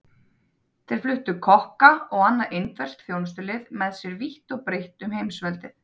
Þeir fluttu kokka og annað indverskt þjónustulið með sér vítt og breitt um heimsveldið.